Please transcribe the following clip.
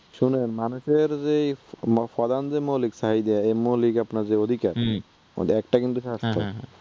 শুনেন মানুষের যে প্রধান যে মৌলিক চাহিদা যে মৌলিক আপনার যে অধিকার, ঐটার একটা কিন্তু স্বাস্থ্য